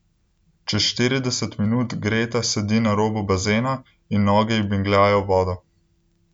Čez štirideset minut Greta sedi na robu bazena in noge ji bingljajo v vodo.